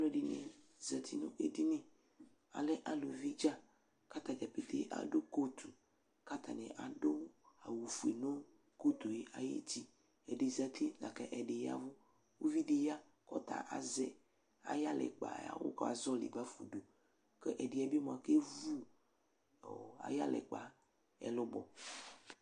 alʊɛdɩnɩ zati nʊ edini, alɛ eluvi dza, kʊ atadza pete adʊ kotu kʊ adʊ awu fue dʊnʊ uti, ɛdɩ zati lakʊ ɛdɩ yɛvʊ, uvidɩ ya kʊ ɔta azɛ ayʊ ukpa yɛ ayʊv awu ka zɔlɩ bafa udu, kʊ ɛdɩ yɛ bɩ mua okevu ayʊ ukpa yɛ ɛwi(ɛlʊbɔ)